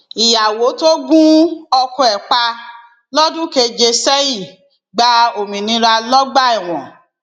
ìyàwó tó gun ọkọ ẹ pa lọdún keje sẹyìn gba òmìnira lọgbà ẹwọn